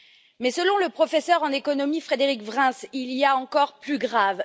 Mais, selon le professeur en économie, Frédéric Vrins, il y a encore plus grave.